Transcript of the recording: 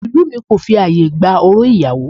Ìlú mi kò fi ààyè gba orò ìgbéyàwó